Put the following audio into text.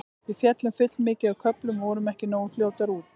Við féllum full mikið á köflum og vorum ekki nógu fljótar út.